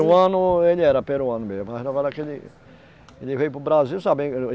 ele era peruano mesmo, mas agora que ele... Ele veio para o Brasil, sabe?